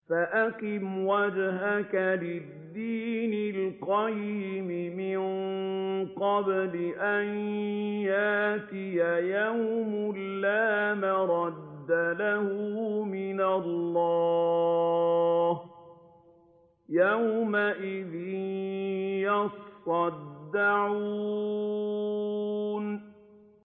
فَأَقِمْ وَجْهَكَ لِلدِّينِ الْقَيِّمِ مِن قَبْلِ أَن يَأْتِيَ يَوْمٌ لَّا مَرَدَّ لَهُ مِنَ اللَّهِ ۖ يَوْمَئِذٍ يَصَّدَّعُونَ